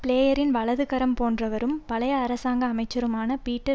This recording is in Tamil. பிளேயரின் வலதுகரம் போன்றவரும் பழைய அரசாங்க அமைச்சருமான பீட்டர்